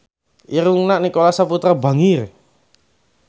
Irungna Nicholas Saputra bangir